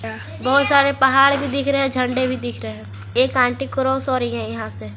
बहोत सारे पहाड़ भी दिख रहे हैं झंडा भी दिख रहे हैं एक आंटी क्रॉस हो रही है यहां से।